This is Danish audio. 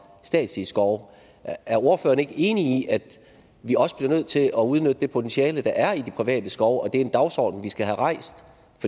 statslige skove er ordføreren ikke enig i at vi også bliver nødt til at udnytte det potentiale der er i de private skove og at det er en dagsorden vi skal have rejst